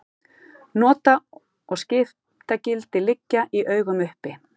Nota- og skiptagildi liggja í augum uppi.